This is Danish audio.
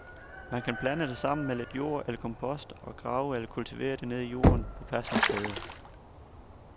Man kan blande det sammen med lidt jord eller kompost og grave eller kultivere det ned i jorden på passende steder.